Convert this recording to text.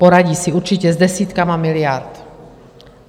Poradí si určitě s desítkami miliard.